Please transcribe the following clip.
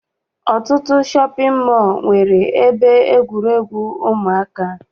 Ọtụtụ shọpị mọọ nwere ebe egwuregwu ụmụaka.